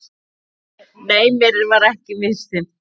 Nei, mér var ekki misþyrmt.